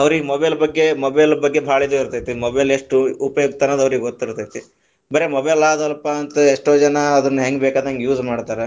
ಅವ್ರಿಗೆ mobile ಬಗ್ಗೆ mobile ಬಗ್ಗೆ ಬಾಳ ಇದು ಇರತೈತಿ, mobile ಎಷ್ಟು ಉಪಯುಕ್ತ ಅನ್ನೋದು ಅವ್ರಿಗೆ ಗೊತ್ತಿರತೈತಿ, ಬರೆ mobile ಆದಲಪಾ ಅಂತ ಎಷ್ಟೋ ಜನಾ ಅದನ್ನ ಹೆಂಗ ಬೇಕಾದಂಗ use ಮಾಡ್ತಾರಾ,